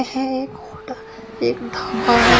है एक होट एक ढाबा है।